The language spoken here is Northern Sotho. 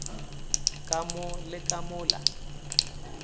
ka mo le ka mola